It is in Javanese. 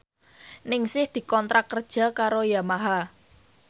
Ningsih dikontrak kerja karo Yamaha